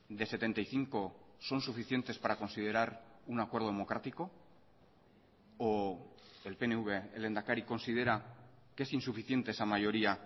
de setenta y cinco son suficientes para considerar un acuerdo democrático o el pnv el lehendakari considera que es insuficiente esa mayoría